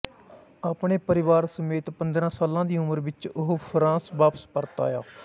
ਆਪਣੇ ਪਰਿਵਾਰ ਸਮੇਤ ਪੰਦਰਾਂ ਸਾਲਾਂ ਦੀ ਉਮਰ ਵਿੱਚ ਉਹ ਫਰਾਂਸ ਵਾਪਸ ਪਰਤ ਆਇਆ